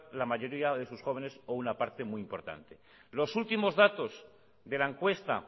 la mayoría de sus jóvenes o una parte muy importante los últimos datos de la encuesta